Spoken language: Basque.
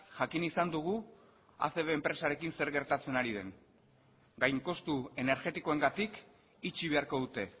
jakin izan dugu acb enpresarekin zer gertatzen ari den gain kostu energetikoengatik itxi beharko dute